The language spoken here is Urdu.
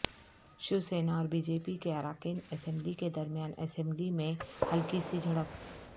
شیوسینا اور بی جے پی کے اراکین اسمبلی کے درمیان اسمبلی میں ہلکی سی جھڑپ